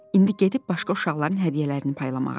İndi gedib başqa uşaqların hədiyyələrini paylamağa.